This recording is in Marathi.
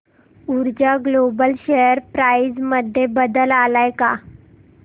ऊर्जा ग्लोबल शेअर प्राइस मध्ये बदल आलाय का